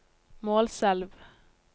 Målselv